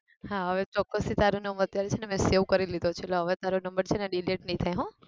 હા હવે ચોકસથી તારો number અત્યારે છે ને મેં save કરી લોધો છે એટલે હવે તારો number છે ને delete નહિ થાય હો